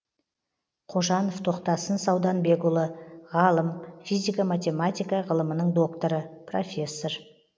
қожанов тоқтасын сауданбекұлы ғалым физико матемематика ғылымының докторы профессор